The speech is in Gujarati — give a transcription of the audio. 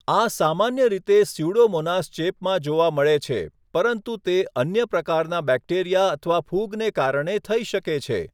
આ સામાન્ય રીતે સ્યુડોમોનાસ ચેપમાં જોવા મળે છે, પરંતુ તે અન્ય પ્રકારના બેક્ટેરિયા અથવા ફૂગને કારણે થઈ શકે છે.